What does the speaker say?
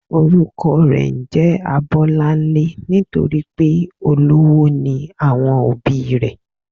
Orúkọ rè njé Abólánlé nítorípé olówó ni àwọn òbí i rè